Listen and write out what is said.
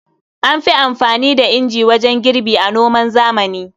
An fi anfani da inji wajen girbi a noman zamani.